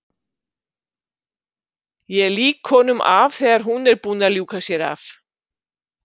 Ég lýk honum af þegar hún er búin að ljúka sér af.